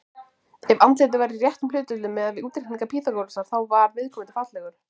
Ef andlitið var í réttum hlutföllum, miðað við útreikninga Pýþagórasar, þá var viðkomandi fallegur.